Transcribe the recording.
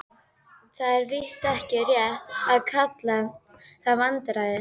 Það er víst ekki rétt að kalla það vandræði.